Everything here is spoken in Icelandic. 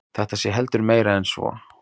Þetta sé heldur meira en svo